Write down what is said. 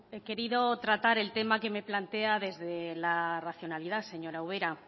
he querido tratar el tema que me plantea desde la racionalidad señora ubera